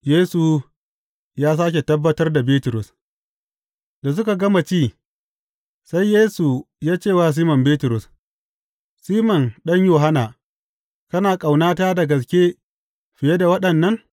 Yesu ya sāke tabbatar da Bitrus Da suka gama ci, sai Yesu ya ce wa Siman Bitrus, Siman ɗan Yohanna, kana ƙaunata da gaske fiye da waɗannan?